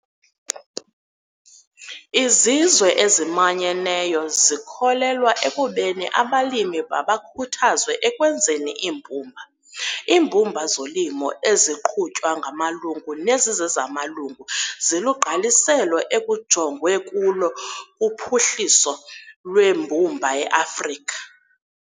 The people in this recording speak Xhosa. IZizwe eziManyeneyo zikholelwa ekubeni abalimi mabakhuthazwe ekwenzeni iimbumba- 'Iimbumba zolimo eziqhutywa ngamalungu nezizezamalungu zilugqaliselo ekujongwe kulo kuphuhliso lweembumba eAfrika.'